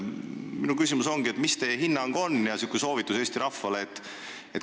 Minu küsimus ongi, mis on teie hinnang ja soovitus Eesti rahvale.